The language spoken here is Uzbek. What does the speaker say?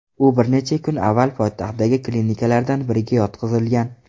U bir necha kun avval poytaxtdagi klinikalardan biriga yotqizilgan.